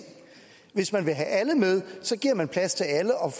hvis man vil have alle med giver man plads til alle og